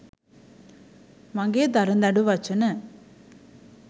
මගේ දරදඬු වචන